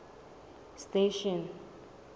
station